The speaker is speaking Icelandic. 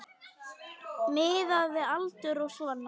Miðað við aldur og svona.